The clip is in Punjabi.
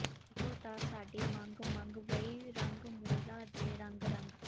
ਏਹੋ ਤਾਂ ਸਾਡੀ ਮੰਗ ਮੰਗ ਵਈ ਰੰਗ ਮੌਲਾ ਦੇ ਰੰਗ ਰੰਗ